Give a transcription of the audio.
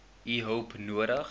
u hulp nodig